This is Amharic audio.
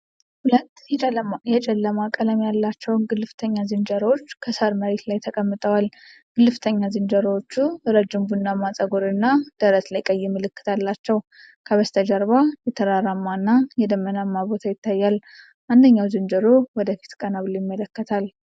ሁለት የጨለማ ቀለም ያላቸው ግልፍተኛ ዝንጀሮዎች ከሳር መሬት ላይ ተቀምጠዋል። ግልፍተኛ ዝንጀሮዎቹ ረጅም ቡናማ ፀጉር እና ደረት ላይ ቀይ ምልክት አላቸው። ከበስተጀርባ የተራራማ እና የደመናማ ቦታ ይታያል። አንደኛው ዝንጀሮ ወደ ፊት ቀና ብሎ ይመለከታል።